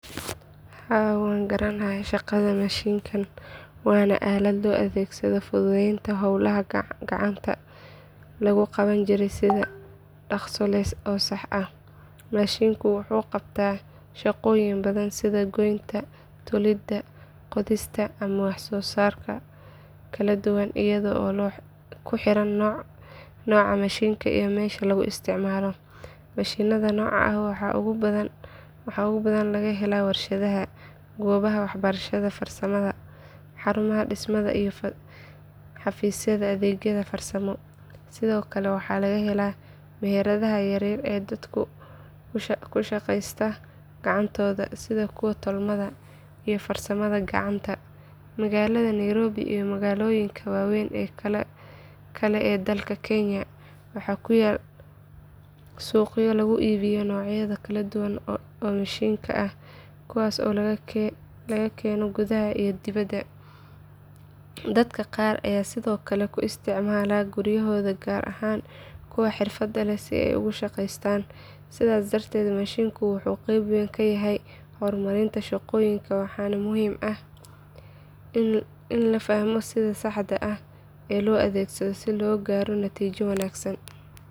Haa waan garanayaa shaqada mashiinkan waana aalad loo adeegsado fududeynta howlaha gacanta lagu qaban jiray si dhakhso leh oo sax ah. Mashiinku wuxuu qabtaa shaqooyin badan sida goynta, tolidda, qodista ama wax soo saar kala duwan iyadoo ku xiran nooca mashiinka iyo meesha lagu isticmaalo. Mashiinnada noocan ah waxaa ugu badan laga helaa warshadaha, goobaha waxbarashada farsamada, xarumaha dhismaha iyo xafiisyada adeegyada farsamo. Sidoo kale waxaa laga helaa meheradaha yaryar ee dadka ku shaqeysta gacantooda sida kuwa tolmada iyo farsamada gacanta. Magaalada nairobi iyo magaalooyinka waaweyn ee kale ee dalka kenya waxaa ku yaal suuqyo lagu iibiyo noocyo kala duwan oo mashiinno ah kuwaas oo laga keeno gudaha iyo dibadda. Dadka qaar ayaa sidoo kale ku isticmaala guryahooda gaar ahaan kuwa xirfadda leh si ay uga shaqeystaan. Sidaas darteed mashiinku wuxuu qayb weyn ka yahay horumarinta shaqooyinka waxaana muhiim ah in la fahmo sida saxda ah ee loo adeegsado si loo gaaro natiijo wanaagsan.